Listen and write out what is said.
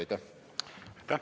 Aitäh!